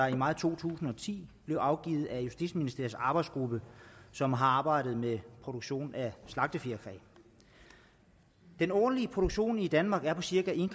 i maj to tusind og ti blev afgivet af justitsministeriets arbejdsgruppe som har arbejdet med produktion af slagtefjerkræ den årlige produktion i danmark er på cirka en